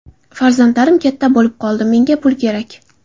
Farzandlarim katta bo‘lib qoldi, menga pul kerak”.